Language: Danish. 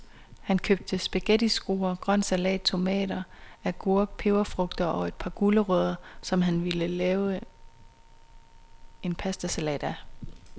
Han købte spaghettiskruer, grøn salat, tomater, agurk, peberfrugter og et par gulerødder, som han ville lave en pastasalat af.